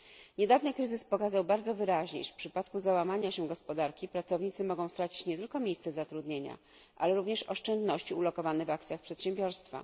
Niedawny kryzys pokazał bardzo wyraźnie, iż w przypadku załamania się gospodarki pracownicy mogą stracić nie tylko miejsce zatrudnienia, ale również oszczędności ulokowane w akcjach przedsiębiorstwa.